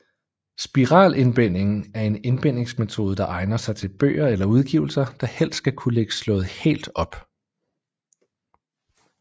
Spiralindbinding er en indbingsmetode der egner sig til bøger eller udgivelser der helst skal kunne ligge slået helt op